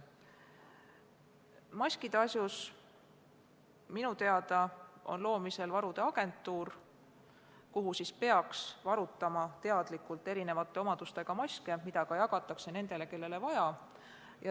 Maskide asjus on minu teada loomisel varude agentuur, kuhu peaks teadlikult varutama erisuguste omadustega maske, mida jagatakse nendele, kellele vaja.